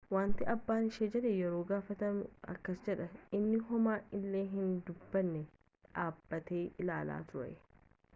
wanta abbaan ishee jedhe yeroo gaafatanu akkas jette inni homaa illee hin dubbanne dhaabbatee ilaalaa ture